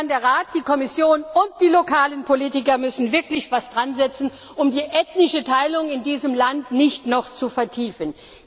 Der Rat, die Kommission und die lokalen Politiker müssen wirklich etwas daransetzen, um die ethnische Teilung in diesem Land nicht noch zu vertiefen.